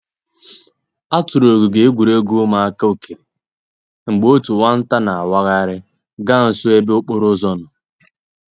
A tụrụ ogige egwuregwu ụmụaka okere mgbe otu nwa nta na awaghari ga nso ebe okporo ụzọ nọ.